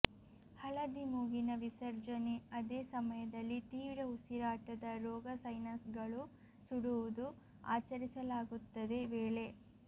ಹಳದಿ ಮೂಗಿನ ವಿಸರ್ಜನೆ ಅದೇ ಸಮಯದಲ್ಲಿ ತೀವ್ರ ಉಸಿರಾಟದ ರೋಗ ಸೈನಸ್ಗಳು ಸುಡುವುದು ಆಚರಿಸಲಾಗುತ್ತದೆ ವೇಳೆ